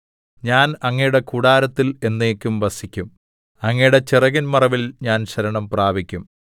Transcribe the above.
ഞാൻ അങ്ങയുടെ കൂടാരത്തിൽ എന്നേക്കും വസിക്കും അങ്ങയുടെ ചിറകിൻ മറവിൽ ഞാൻ ശരണം പ്രാപിക്കും സേലാ